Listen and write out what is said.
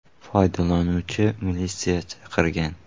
Foydalanuvchi militsiya chaqirgan.